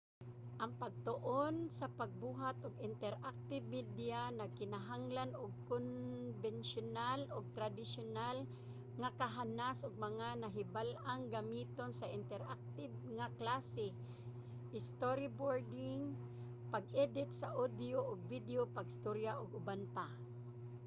ang pagtuon sa pagbuhat ug interactive media nagkinahanglan og konbensiyonal ug tradisyonal nga kahanas ug mga nahibal-ang gamiton sa interactive nga klase storyboarding pag-edit sa audio ug video pag-storya ug uban pa